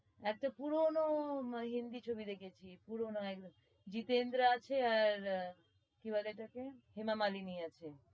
একটা পুরনো হিন্দি ছবি দেখেছি পুরোনো একদম জিতেন্দ্র আছে আর কি বলে ওটাকে হেমা মালিনি আছে।